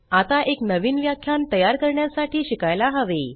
आता एक नवीन व्याख्यान तयार करण्यासाठी शिकायला हवे